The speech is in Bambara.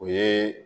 O ye